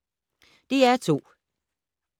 DR2